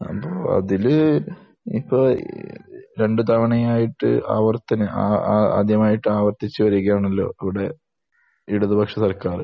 അപ്പോൾ അതിൽ ഇപ്പോൾ രണ്ട് തവണയായിട്ട് ആവർത്തന ആ ആ ആദ്യമായിട്ട് ആവർത്തിച്ച് വരികയാണല്ലോ കൂടെ ഇടത്‌പക്ഷ സർക്കാർ.